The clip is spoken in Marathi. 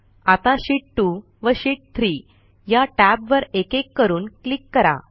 आता शीत 2 व शीत 3 या टॅबवर एकेक करून क्लिक करा